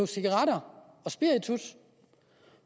cigaretter og spiritus